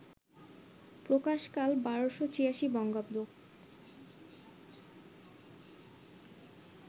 প্রকাশকাল ১২৮৬ বঙ্গাব্দ